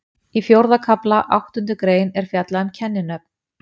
Í fjórða kafla, áttundu grein, er fjallað um kenninöfn.